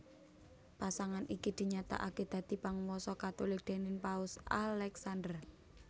Pasangan iki dinyatakaké dadi Panguwasa Katulik déning Paus Aleksander